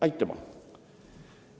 Aitüma!